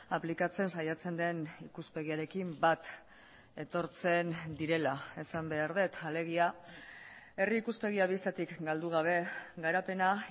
aplikatzen saiatzen den ikuspegiarekin bat etortzen direla esan behar dut alegia herri ikuspegia bistatik galdu gabe garapena